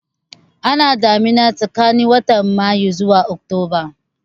Ana damina tsakanin watan Mayu zuwa Oktoba